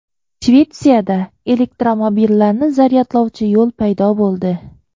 Shvetsiyada elektromobillarni zaryadlovchi yo‘l paydo bo‘ldi.